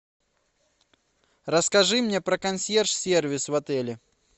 расскажи мне про консьерж сервис в отеле